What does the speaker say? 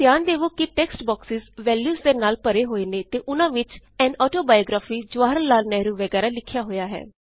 ਧਿਆਨ ਦੇਵੇ ਕੇ ਟੇਕ੍ਸਟ ਬੌਕਸੇਜ਼ ਵੈਲਯੂਜ਼ ਦੇ ਨਾਲ ਭਰੇ ਹੋਏ ਨੇ ਅਤੇ ਉਨਾਂ ਵਿਚ ਅਨ ਆਟੋਬਾਇਓਗ੍ਰਾਫੀ ਜਵਾਹਰਲਾਲ ਨੇਹਰੂ ਵਗੈਰਾ ਲਿਖਿਆ ਹੋਇਆ ਹੈ